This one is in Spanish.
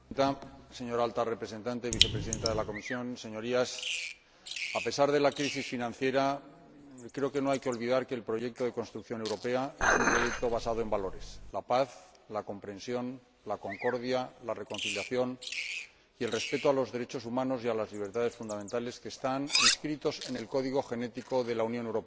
Señora Presidenta, señora Vicepresidenta de la Comisión Alta Representante, Señorías, a pesar de la crisis financiera, creo que no hay que olvidar que el proyecto de construcción europea es un proyecto basado en valores la paz, la comprensión, la concordia, la reconciliación y el respeto de los derechos humanos y de las libertades fundamentales, que están inscritos en el código genético de la Unión Europea.